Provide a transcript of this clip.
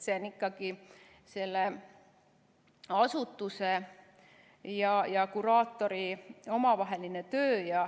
See on ikkagi selle asutuse ja kuraatori omavaheline töö.